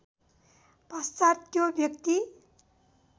पश्चात् त्यो व्यक्ति